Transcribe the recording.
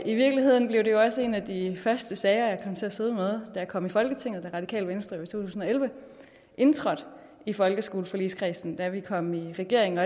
i virkeligheden blev det også en af de første sager jeg kom til at sidde med da jeg kom i folketinget da radikale venstre i to tusind og elleve indtrådte i folkeskoleforligskredsen da vi kom i regering